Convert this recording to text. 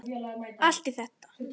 Allt í allt.